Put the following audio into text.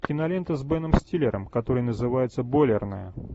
кинолента с беном стиллером которая называется бойлерная